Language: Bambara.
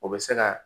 O bɛ se ka